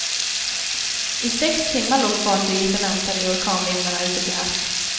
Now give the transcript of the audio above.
I sex timmar låg fartyget och väntade i orkanvindarna ute till havs.